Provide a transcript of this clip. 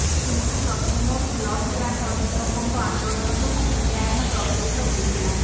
କିନ୍ତୁ ପ୍ରଥମରୁ block grant ଅଧ୍ୟାପକଙ୍କ ଆନ୍ଦୋଳନ ଯୋଗୁଁ ମୂଲ୍ୟାୟନ ପ୍ରଭାବିତ ହୋଇଥିଲା